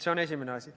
See on esimene asi.